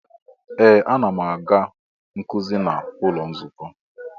Ee! Ana m aga nkuzi n'ụlọ nzukọ.